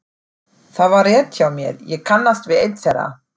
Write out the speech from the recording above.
Það var rétt hjá mér, ég kannast við einn þeirra.